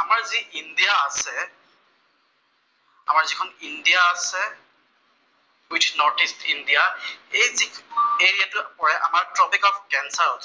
আমাৰ যি ইণ্ডিয়া আছে। আমাৰ যিখন ইণ্ডিয়া আছে, উইথ নৰ্থ ইষ্ট ইণ্ডিয়া, এইটো এ গ্ৰেডত পৰে আমাৰ টপিক অফ কেঞ্চাৰ।